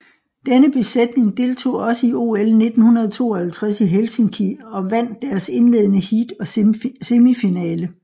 Denne besætning deltog også i OL 1952 i Helsinki og vandt deres indledende heat og semifinale